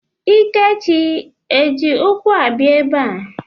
Ikechi eji ụkwụ abịa ebe a?